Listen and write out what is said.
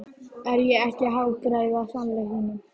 Er ég ekki að hagræða sannleikanum?